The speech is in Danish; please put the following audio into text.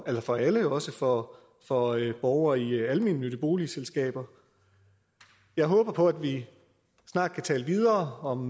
for alle og også for for borgere i almennyttige boligselskaber jeg håber på at vi snart kan tale videre om